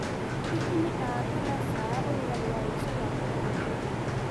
hĩhĩ ni aa kana caa ũrũgarĩ wa rũcĩũ ugakorwo muhiu